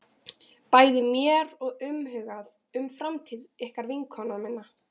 Mér er bæði umhugað um framtíð ykkar og vinkonu minnar.